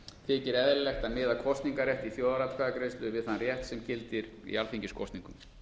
þykir eðlilegt að miða kosningarrétt í þjóðaratkvæðagreiðslu við þann rétt sem gildir í alþingiskosningum